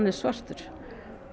er svartur